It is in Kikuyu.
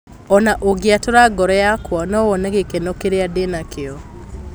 Ona ũngĩatũra ngoro yakwa no wone gĩkeno kĩrĩa ndĩ nakĩo